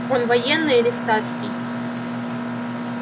он военный или статский